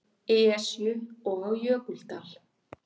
Esju og á Jökuldal.